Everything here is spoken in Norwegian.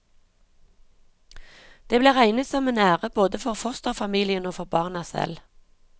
Det ble regnet som en ære både for fosterfamilien og for barna selv.